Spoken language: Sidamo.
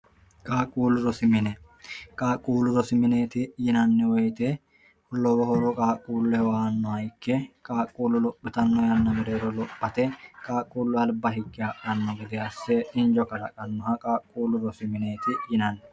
qaaqquullu zosimine qaaqquullu zo simineeti yinanni woyite lowo horo qaaqquulle hwannoha ikke qaaqquullu lo'phitanno yanna bereero lophate qaaqquullu alba higi ha'anno gede asse injo kalaqannoha qaaqquullu zosimineeti yinanni